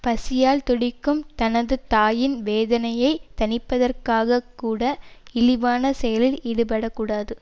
பசியால் துடிக்கும் தனது தாயின் வேதனையைத் தணிப்பதற்காகக்கூட இழிவான செயலில் ஈடுபட கூடாது